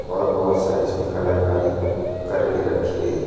और बहोत सारी इसमे कलाकारी करके रखी गई है।